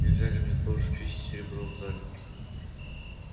нельзя ли мне тоже чистить серебро в зале